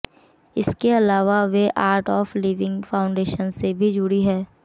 इसके अलावा वे आर्ट ऑफ लिविंग फाउंडेशन से भी जुड़ी हैं